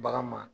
Bagan ma